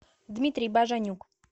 дмитрий бажанюк